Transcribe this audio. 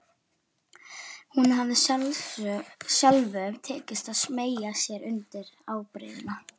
Honum hafði sjálfum tekist að smeygja sér undir ábreiðuna.